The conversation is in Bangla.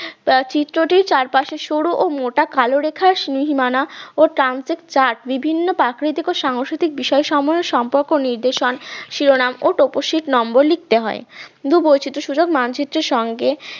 চিত্রটির চারপাশে শোরু ও মোটা কালো রেখার সীমানা ও প্রান্তে চাট বিভিন্ন প্রাকৃতিক সাংস্কৃতিক বিষয়ক সম সম্পর্ক নির্দেশন শিরোনাম ও তপশিট number লিখতে হয়। ভূপরিচিত মানচিত্রের সঙ্গে